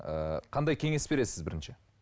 ыыы қандай кеңес бересіз бірінші